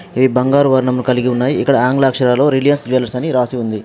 ఇవి బంగారు వర్ణమును కలిగి ఉన్నాయి. ఇక్కడ ఆంగ్ల అక్షరాలో రిలయన్స్ జువెలర్స్ అని రాసి ఉంది.